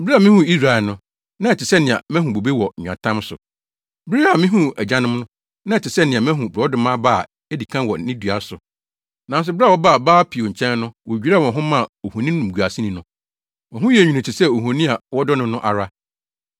“Bere a mihuu Israel no, na ɛte sɛ nea mahu bobe wɔ nweatam so; bere a mihuu mo agyanom no, na ɛte sɛ nea mahu borɔdɔma aba a edi kan wɔ ne dua so. Nanso bere a wɔbaa Baal-Peor nkyɛn no wodwiraa wɔn ho maa ohoni nimguaseni no. Wɔn ho yɛɛ nwini te sɛ ohoni a wɔdɔ no no ara.